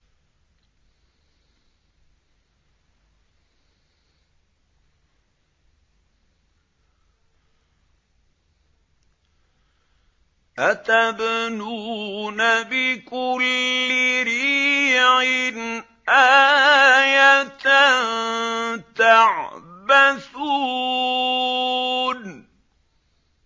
أَتَبْنُونَ بِكُلِّ رِيعٍ آيَةً تَعْبَثُونَ